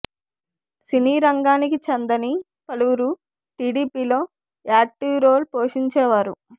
సినీ రంగానికి చెందని పలువురు టిడిపి లో యాక్టివ్ రోల్ పోషించే వారు